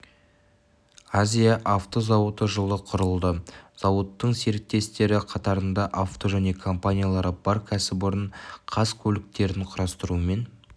азия авто зауыты жылы құрылды зауыттың серіктестері қатарында авто және компаниялары бар кәсіпорын қаз көліктерін құрастырумен